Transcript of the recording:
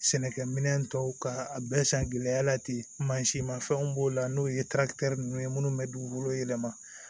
Sɛnɛkɛ minɛn tɔw ka a bɛɛ san gɛlɛya la ten mansin mafɛnw b'o la n'o ye ninnu ye minnu bɛ dugukolo yɛlɛma